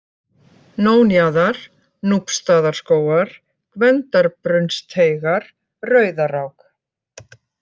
Nónjaðar, Núpsstaðarskógar, Gvendarbrunnsteigar, Rauðarák